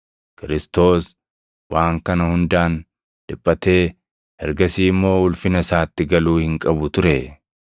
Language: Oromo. Kiristoos + 24:26 yookaan Masiihichi waan kana hundaan dhiphatee ergasii immoo ulfina isaatti galuu hin qabu turee?”